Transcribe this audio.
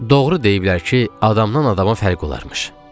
Doğru deyiblər ki, adamdan adama fərq olarmış.